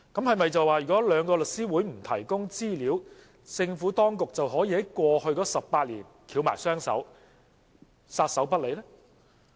是否因為兩個律師會不提供資料，政府當局便可以在過去18年撒手不理呢？